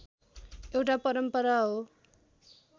एउटा परम्परा हो